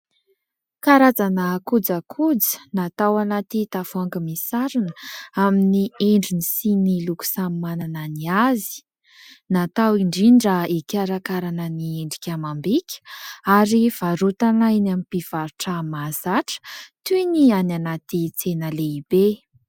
Karazana kojakoja, natao anaty tavoahangy misarona amin'ny endriny sy ny loko samy manana ny azy. Natao indrindra hikarakaràna ny endrika amam-bika ary varotana eny amin'ny mpivarotra mahazatra toy ny any anaty tsena lehibe.